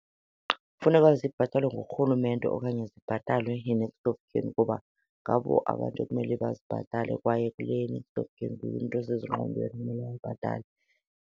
Funeka zibhatalwe nguRhulumente okanye zibhatalwe yi-next of kin kuba ngabo abantu ekumele bazibhatale, kwaye kule ye-next of kin nguye umntu osezingqondweni okumele ayibhatale.